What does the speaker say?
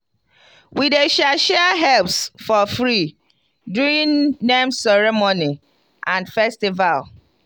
we dey share share herbs for free during name ceremony and festival.